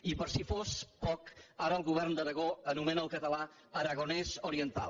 i per si fos poc ara el govern d’aragó anomena el català aragonés oriental